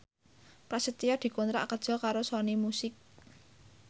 Prasetyo dikontrak kerja karo Sony Music